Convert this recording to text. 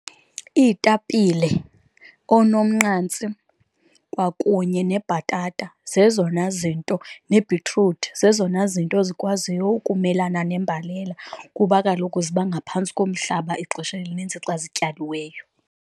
Iitapile, onomnqantsi, kwakunye nebhatata, zezona zinto nebhitruthi zezona zinto ezikwaziyo ukumelana nembalela kuba kaloku ziba ngaphantsi komhlaba ixesha elinintsi xa zityaliweyo.